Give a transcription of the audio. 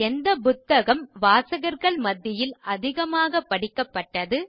எந்த புத்தகம் வாசகர்கள் மத்தியில் அதிகமாக படிக்கப்பட்டது